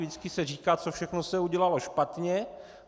Vždycky se říká, co všechno se udělalo špatně.